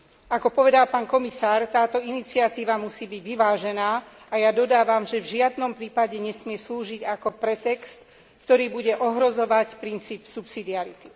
Ako povedal pán komisár, táto iniciatíva musí byť vyvážená, a ja dodávam, že v žiadnom prípade nesmie slúžiť ako pretext, ktorý bude ohrozovať princíp subsidiarity.